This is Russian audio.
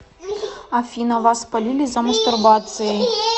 афина вас палили за мастурбацией